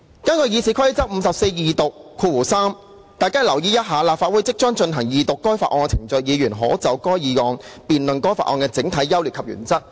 根據《議事規則》第543條，"立法會即須進行二讀該法案的程序，議員可就該議案辯論該法案的整體優劣及原則。